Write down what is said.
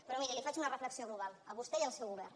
però miri li faig una reflexió global a vostè i al seu govern